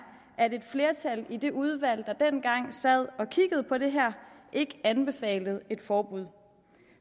at et flertal i det udvalg der dengang sad og kiggede på det her ikke anbefalede et forbud